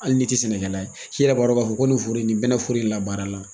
Hali ni te sɛnɛkɛla ye , i yɛrɛ b'a dɔn ka fɔ ko nin foro in ni bɛnɛn in la baara la.